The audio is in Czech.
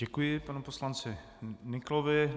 Děkuji panu poslanci Nyklovi.